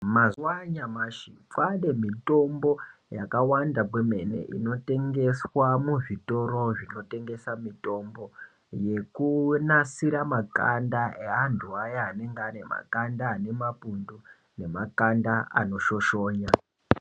Mwazuwa anyamashi kwane mutombo yakawanda kwemene inotengeswa muzvitoro zvinotengesa mitombo yekunasira makanda eantu aya anenge ane makanda anemapundu nemakanda anoshoshona.